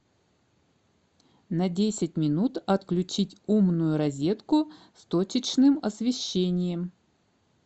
на десять минут отключить умную розетку с точечным освещением